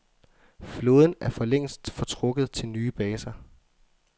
Flåden er for længst fortrukket til nye baser.